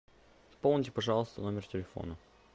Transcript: пополните пожалуйста номер телефона